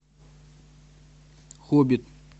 хоббит